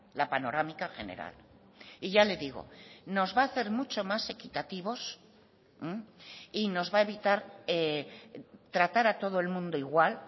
la panorámica general y ya le digo nos va a hacer mucho más equitativos y nos va a evitar tratar a todo el mundo igual